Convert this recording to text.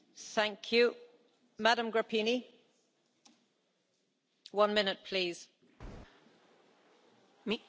Doamna președintă, domnule comisar, vreau și eu să apreciez prezentarea făcută de domnul președinte Juncker.